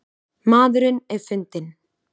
Maðurinn er fundinn